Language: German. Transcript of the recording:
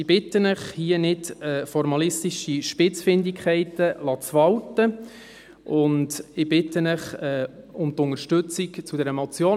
Ich bitte Sie, hier nicht formalistische Spitzfindigkeiten walten zu lassen, und ich bitte Sie um die Unterstützung bei dieser Motion.